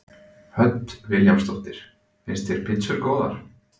Hödd Vilhjálmsdóttir: Finnst þér pítsur góðar?